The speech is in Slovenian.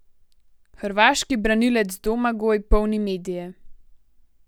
Hrvaški branilec Domagoj polni medije.